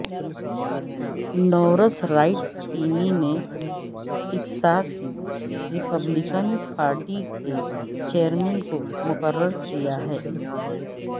نورس Wright Cuney نے Texas Republican party کے chairman کو مقرر کیا ہے